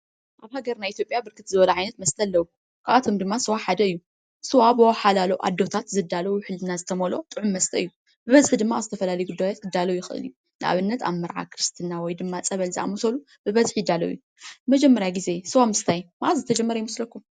አብ ሃገርና ኢትዮጵያ ብርክት ዝበሉ ዓይነት መስተ አለው። ካብአቶም ድማ ስዋ ሓደ እዩ ።ስዋ ብወሓላሉ አዴታት ዝዳሎ ውሕልና ዝተመልኦ ጥዑም መስተ እዩ። ብበዝሒ ድማ አብ ዝተፈላለዩ ጉዳያት ክዳሎ ይክእል እዩ። ንአብነት ኣብ መርዓ፣ ክርስትና ወይ ድማ ፀበል ዝአመሰሉ ብበዝሒ ይዳሎ እዩ። ንመጀመርያ ግዘ ስዋ ምስታይ መዓዝ ዝተጀመረ ይመስለኩም?